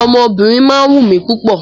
Ọmọ obìnrin má ń wù mí púpọ̀